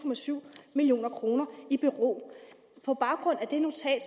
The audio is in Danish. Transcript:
million kroner i bero på baggrund af det notat